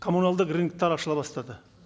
коммуналдық рыноктар ашыла бастады